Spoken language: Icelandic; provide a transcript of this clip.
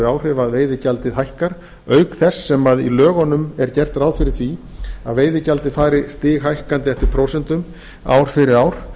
áhrif að veiðigjaldið hækkar auk þess sem í lögunum er gert ráð fyrir því að veiðigjaldið fari stighækkandi eftir prósentum ár fyrir ár